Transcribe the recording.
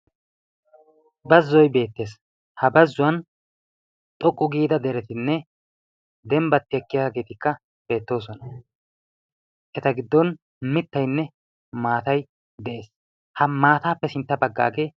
Bazzoyi beettes ha bazzuwan xoqqu giida deretinne dembbatti ekkiyageetikka beettoosona. Eta giddon mittaynne maatay de"es. Ha maataappe sintta baggaagee....